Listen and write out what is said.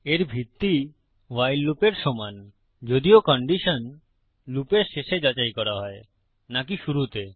এর ভিত্তি ভাইল লুপের সমান যদিও কন্ডিশন লুপের শেষে যাচাই করা হয় নাকি শুরুতে